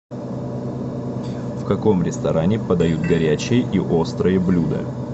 в каком ресторане подают горячие и острые блюда